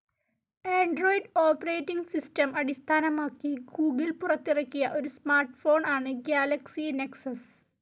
Android operating system അടിസ്ഥാനമാക്കി Google പുറത്തിറക്കിയ ഒരു സ്മാർട്ട്‌ ഫോൺ ആണ്‌ ഗാലക്സി നെക്സസ്.